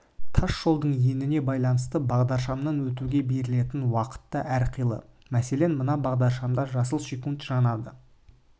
тас жолдың еніне байланысты бағдаршамнан өтуге берілетін уақыт та әрқилы мәселен мына бағдаршамда жасыл секунд жанады